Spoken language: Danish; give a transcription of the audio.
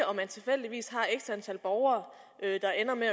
om man tilfældigvis har x antal borgere der ender med